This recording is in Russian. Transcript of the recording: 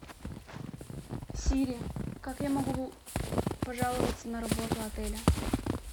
сири как я могу пожаловаться на работу отеля